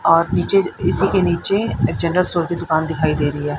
और नीचे इसी के नीचे जनरल स्टोर की दुकान दिखाई दे रही है।